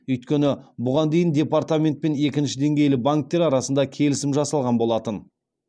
өйткені бұған дейін департамент пен екінші деңгейлі банктер арасында келісім жасалған болатын